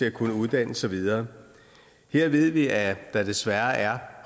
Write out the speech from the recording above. at kunne uddanne sig videre her ved vi at der desværre er